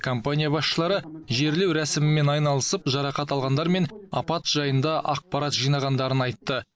компания басшылары жерлеу рәсімімен айналысып жарақат алғандар мен апат жайында ақпарат жинағандарын айтты